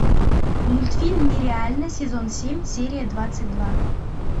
мультфильм нереально сезон семь серия двадцать два